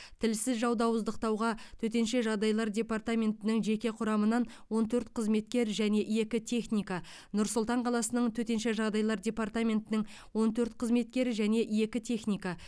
тілсіз жауды ауыздықтауға төтенше жағдайлар департаментінің жеке құрамынан он төрт қызметкер және екі техника нұр сұлтан қаласының төтенше жағдайлар департаментінің он төрт қызметкер және екі техника